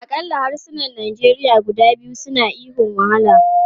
Akalla harsunan Nigeria guda biyu suna ihun 'wahala!'